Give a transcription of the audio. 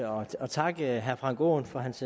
og takke herre frank aaen for hans